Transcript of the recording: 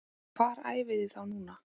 Hvar æfiði þá núna?